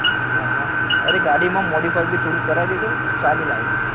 હા હા અરે ગાડી માં modify બી થોડું કરાવી દેજો સારી લાગે